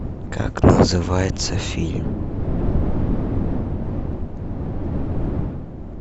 как называется фильм